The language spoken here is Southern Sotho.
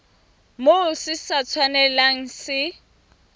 moo se sa tshwanelang se